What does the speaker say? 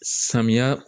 Samiya